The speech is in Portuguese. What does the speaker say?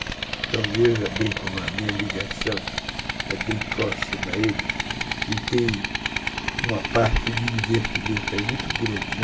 Então veja bem como a minha ligação é bem próxima a eles e tem uma parte de divertimento aí muito grande, né?